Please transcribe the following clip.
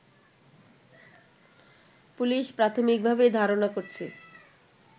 police প্রাথমিকভাবে ধারণা করছে